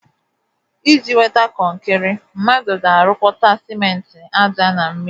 Iji nweta kọnkịrị, mmadụ ga-arụkọta simenti ájá na mmiri